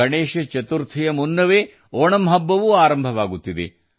ಗಣೇಶ ಚತುರ್ಥಿಯ ಜೊತೆಗೆ ಓಣಂ ಹಬ್ಬವೂ ಆರಂಭವಾಗುತ್ತದೆ